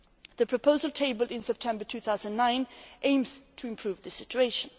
The proposal tabled in September 2009 aims to improve the situation.